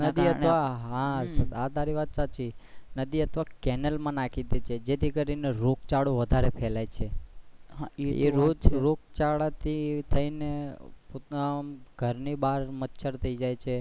નદી અથવા કેનાલ મા નાખી દે છે જે થી કરી ને રોગચાળો વધારે ફેલાય છે એ રોગચાળા થી થઇ ને ઘર ની બાર મચ્છર થઇ જાય છે.